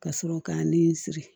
Ka sɔrɔ k'a nin siri